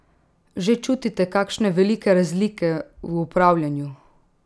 Že čutite kakšne velike razlike v upravljanju?